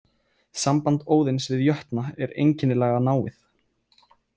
Samband Óðins við jötna er einkennilega náið.